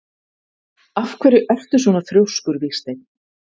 Af hverju ertu svona þrjóskur, Vígsteinn?